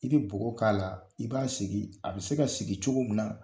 I bɛ bɔgɔ k'a la i b'a sigi a bɛ se ka sigi cogo min na.